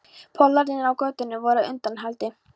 Pollarnir á götunni voru á undanhaldi.